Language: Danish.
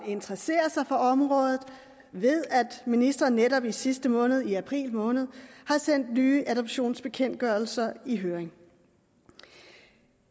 interesserer sig for området ved at ministeren netop i sidste måned i april måned har sendt nye adoptionsbekendtgørelser i høring